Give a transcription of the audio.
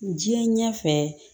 Diɲɛ ɲɛfɛ